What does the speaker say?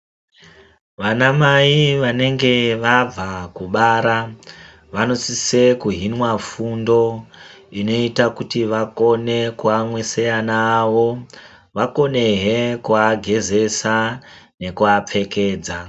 Vanamai vanenge vabva kubara vanosise kuhinwa fundo inoite kuti vakone kuyamwisa vana vavo, vakonehe kuagezesa nekuapfekedza.